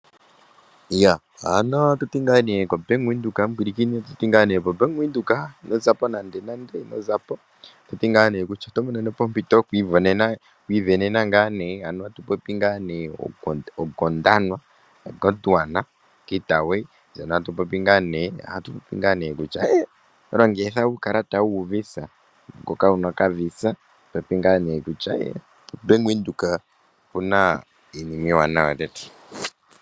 Atuti ngaa nee koBank Windhoek ino zapo nande nande, oto monene po ompito yoku ivenena ngaa nee oGondwana Gateway, ndjono tatu popi ngaa nee kutya oto longithwa okakalata kikaVisa, ngoka kuuna okavisa Bank Windhoek oku na iinima iiwanawa lela.